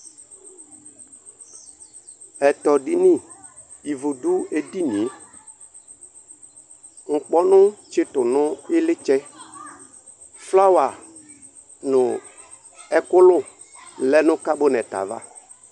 Ɛtɔdini : ivu dʋ edinie , nkpɔnʋ tsɩtʋ nʋ ɩlɩtsɛ Flawa nʋ ɛkʋlʋ lɛ nʋ kabɔnɛt ava